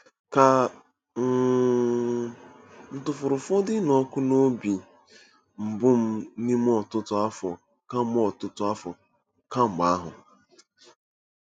Ka um m̀ tụfuru ụfọdụ ịnụ ọkụ n’obi mbụ m n’ime ọtụtụ afọ kemgbe ọtụtụ afọ kemgbe ahụ? '